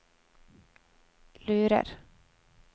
lurer